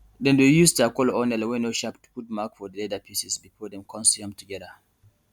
dem dey use charcoal or nail wey no sharp to put mark for di leather pieces before dem con sew am together